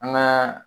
An ka